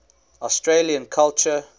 australian culture